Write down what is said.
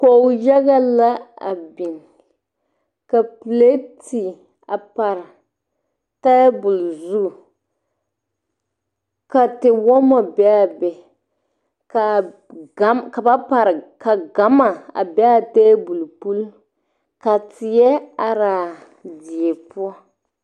kɔg yaga la a beng ka pelete a pare tabul zu ka tewoma be a bɛ kaa gama be a tabul pul ka teɛ arẽ a deɛ pou.